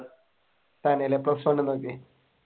തന്നെയല്ലേ